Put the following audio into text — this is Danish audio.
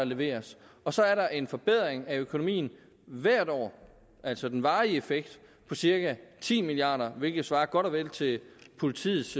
leveres og så er der en forbedring af økonomien hvert år altså den varige effekt på cirka ti milliard kr hvilket svarer godt og vel til politiets